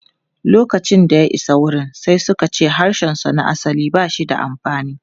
Lokacin da ya isa wurin, sai suka ce harshensa na asali ba shi da amfani.